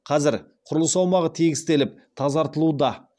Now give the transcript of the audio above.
қазір құрылыс аумағы тегістеліп тазартылуда